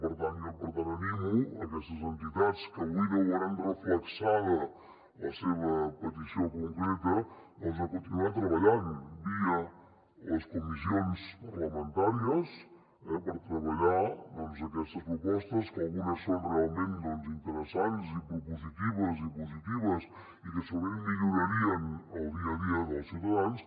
per tant jo animo aquestes entitats que avui no ho veuran reflectida la seva petició concreta a continuar treballant via les comissions parlamentàries per treballar aquestes propostes que algunes són realment interessants i propositives i positives i que segurament millorarien el dia a dia dels ciutadans